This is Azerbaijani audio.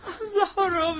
Zaharoviç.